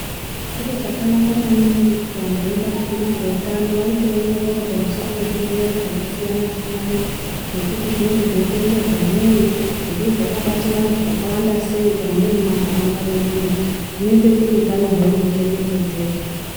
Chiro chakanaka maningi kuti vantu vebazi rezveutano vaite ongororo pamusoro pezvirwere zvakasiyana-siyana. Ngekuti zvinenge zveikonzerwa nei, zvimweni zvakabata vantu vakawanda sei kana muri mumantaraunda mwedu umu zvinoite kuti utano hwedu huchengetedzeke.